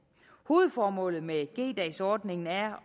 hovedformålet med g dags ordningen er